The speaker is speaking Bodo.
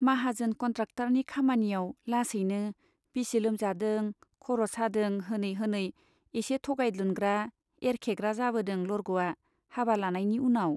माहाजोन कन्ट्राक्टरनि खामानियाव लासैनो बिसि लोमजादों , खर' सादों होनै होनै एसे थोगायल्दुनग्रा , एरखेग्रा जाबोदों लरग'आ हाबा लानायनि उनाव।